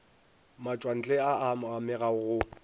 matšwantle a a amega go